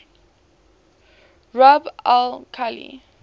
rub al khali